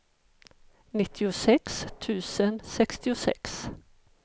nittiosex tusen sextiosex